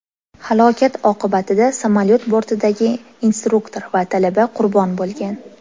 Halokat oqibatida samolyot bortidagi instruktor va talaba qurbon bo‘lgan.